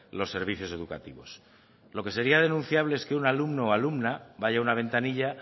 los servicios educativos lo que sería denunciable es que un alumno o alumna vaya a una ventanilla